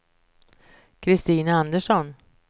Christina Andersson